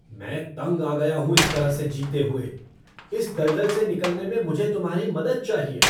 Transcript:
मैं तंग आ गया हूँ इस तरह से जीते हुए! इस दलदल से निकलने में मुझे तुम्हारी मदद चाहिए!